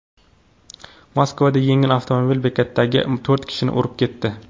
Moskvada yengil avtomobil bekatdagi to‘rt kishini urib ketdi.